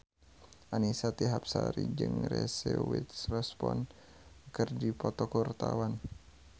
Annisa Trihapsari jeung Reese Witherspoon keur dipoto ku wartawan